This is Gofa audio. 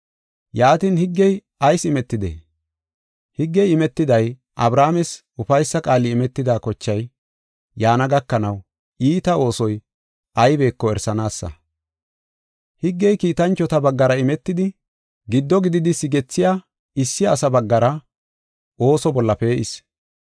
Yaatin, higgey ayis imetidee? Higgey imetiday, Abrahaames ufaysa qaali imetida kochay yaana gakanaw iita oosoy aybeko erisanaasa. Higgey kiitanchota baggara imetidi, giddo gididi sigethiya issi asa baggara ooso bolla pee7is.